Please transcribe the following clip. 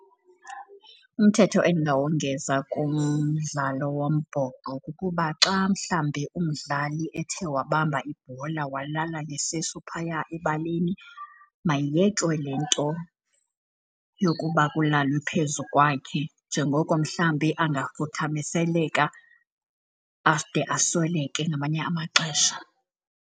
Umthetho endinowongeza kumdlalo wombhoxo kukuba xa mhlambi umdlali ethe wabamba ibhola walala ngesisu phaya ebaleni mayiyekwe le nto yokuba kulalwe phezu kwakhe njengoko mhlambi angafuthaMiseleka, ade asweleke ngamanye amaxesha.